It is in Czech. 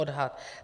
Odhad.